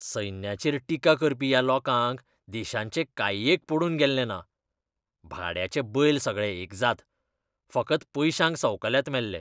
सैन्याचेर टिका करपी ह्या लोकांक देशाचें कांय एक पडून गेल्लें ना. भाड्याचे बैल सगळे एकजात. फकत पयशांक संवकल्यात मेल्ले.